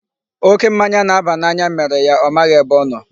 Oké mmanya na-aba n'anya mere ya ọ maghị ebe ọ nọ.